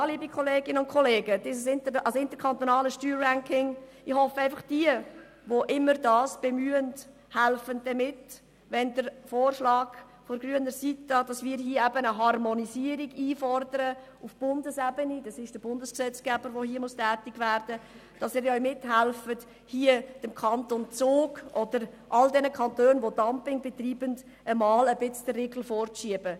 Ja, liebe Kolleginnen und Kollegen, ich hoffe einfach, dass diejenigen, die diesen Ausdruck bemüht haben, den Vorschlag einer Harmonisierung auf Bundesebene, wie wir sie von grüner Seite einfordern, unterstützen und mithelfen werden, der Praxis des Kantons Zug oder aller anderen Kantone, die Steuerdumping betreiben, den Riegel zu schieben.